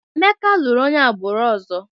Emeka lụrụ onye agbụrụ ọzọ.